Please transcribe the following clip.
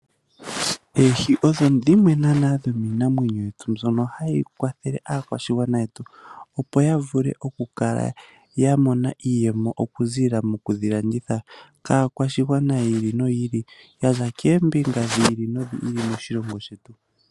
Oohi odho dhimwe naana dhomiinamwenyo yetu, mbyono hayi kwathele aakwashigwana yetu opo ya vule oku kala ya mona iiyemo okuziilila mokudhi landitha, kaakwashigwana yi ili noyi ili, yaza koombinga dhi ili nodhi ili moshilongo shetu.